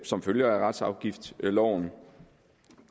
som følge af retsafgiftsloven